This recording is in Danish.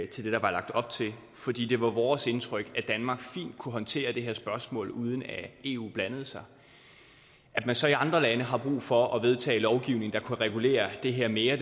til det der var lagt op til fordi det var vores indtryk at danmark fint kunne håndtere det her spørgsmål uden at eu blandede sig at man så i andre lande har brug for at vedtage lovgivning der kunne regulere det her mere